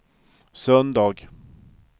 söndag